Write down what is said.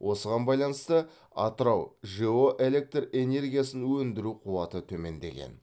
осыған байланысты атырау жэо электр энергиясын өндіру қуаты төмендеген